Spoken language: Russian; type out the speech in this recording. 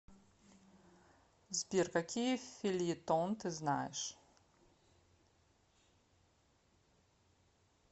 сбер какие фельетон ты знаешь